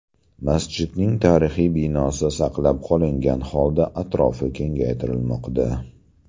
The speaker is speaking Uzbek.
Masjidning tarixiy binosi saqlab qolingan holda atrofi kengaytirilmoqda.